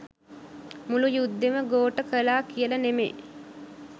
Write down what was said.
මුළු යුද්ධෙම ගෝඨ කලා කියල නෙමේ.